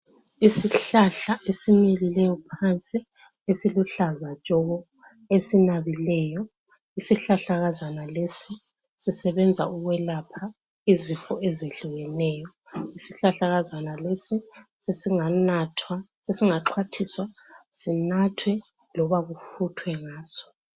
Isihlahla esimilileyo phansi esiluhlaza tshoko esinabileyo. Isihlahlakazana lesi sisebenza ukwelapha izifo ezehlukeneyo. Isihlahlakazana lesi sesinganathwa, sesingaxhwathiswa, sinathwe loba kufuthwe ngaso.